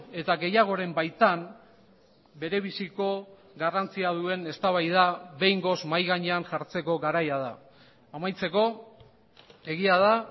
eta gehiagoren baitan berebiziko garrantzia duen eztabaida behingoz mahai gainean jartzeko garaia da amaitzeko egia da